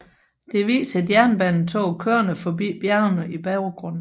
Det viser et jernbanetog kørende forbi bjergene i baggrunden